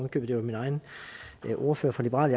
i købet det var min egen ordfører fra liberal